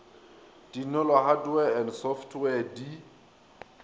dinolo hardware and software di